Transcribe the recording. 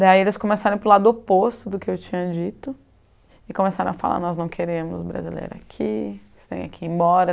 Daí eles começaram para o lado oposto do que eu tinha dito e começaram a falar, nós não queremos brasileiro aqui, você tem que ir embora.